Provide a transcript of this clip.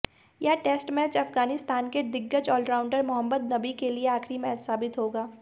यह test match Afghanistan के दिग्गज ऑलराउंडर मोहम्मद नबी के लिए आखिरी मैच साबित होगा